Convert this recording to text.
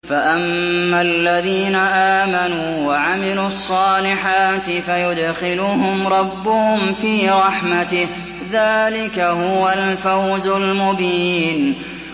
فَأَمَّا الَّذِينَ آمَنُوا وَعَمِلُوا الصَّالِحَاتِ فَيُدْخِلُهُمْ رَبُّهُمْ فِي رَحْمَتِهِ ۚ ذَٰلِكَ هُوَ الْفَوْزُ الْمُبِينُ